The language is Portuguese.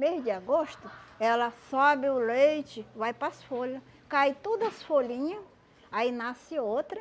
Mês de agosto, ela sobe o leite, vai para as folha, cai tudo as folhinhas, aí nasce outra,